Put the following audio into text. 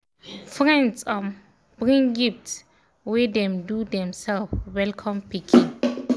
friends um bring gift wey dem do themselves welcome pikin